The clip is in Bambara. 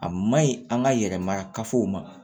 A maɲi an ka yɛrɛma kafow ma